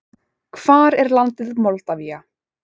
Hvar er landið Moldavía?